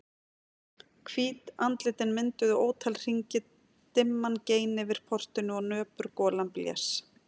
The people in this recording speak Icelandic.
Hvít andlitin mynduðu ótal hringi, dimman gein yfir portinu og nöpur golan blés.